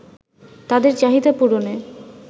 তাদের চাহিদা পূরণে